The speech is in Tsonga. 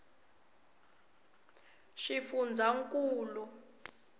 swifundzankulu